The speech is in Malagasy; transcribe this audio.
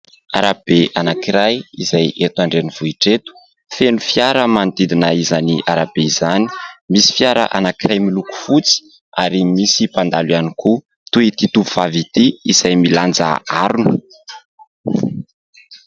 Arabe anankiray izay eto andrenivohitra eto, feno fiara manodidina izany arabe izany; misy fiara anankiray miloko fotsy ary misy mpandalo ihany koa toy ity tovovavy ity izay milanja harona.